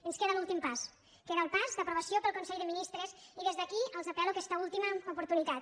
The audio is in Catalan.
ens queda l’últim pas queda el pas d’aprovació pel consell de ministres i des d’aquí els apel·lo aquesta última oportunitat